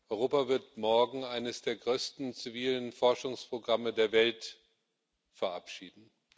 Europa wird morgen eines der größten zivilen Forschungsprogramme der Welt verabschieden.